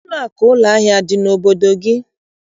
Ụlọakụ ụlọahịa adị n'obodo gị?